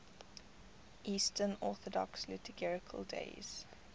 eastern orthodox liturgical days